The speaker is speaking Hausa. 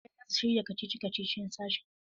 Ɗaliban za su shirya kacici-kacicin sashin.